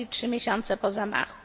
czyli trzy miesiące po zamachu.